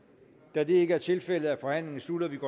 da det ikke er tilfældet er forhandlingen sluttet og vi går